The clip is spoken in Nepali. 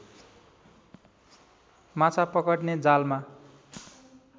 माछा पकड्ने जालमा